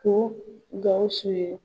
Ko Gawusu ye